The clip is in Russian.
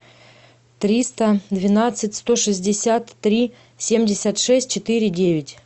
триста двенадцать сто шестьдесят три семьдесят шесть четыре девять